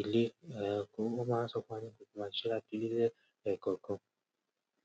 ilé. Eeh, kí ó máa sọ pé a ní kò tíì máa ṣe láti ti ilé ni ẹẹkọọkan.